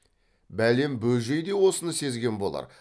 бәлем бөжей де осыны сезген болар